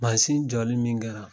Masin jɔli min kɛra